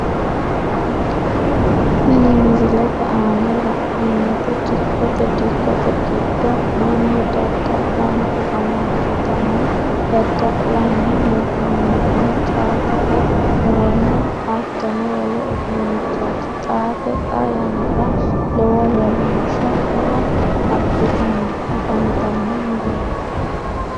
Tini misilete aanna la'neemoti dikote dikote gido Manu dada'lanni afamanotanna dada'linnanni hee'noonnihuno caatete muronna ahattono wole uduunichooti xaate xaa yanara lowo womaashu e'eo abitanni afantano murooti.